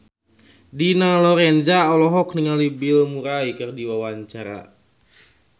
Dina Lorenza olohok ningali Bill Murray keur diwawancara